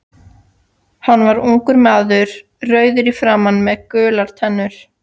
Hann var ungur maður, rauður í framan með gular tennur.